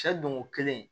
Sɛ don ko kelen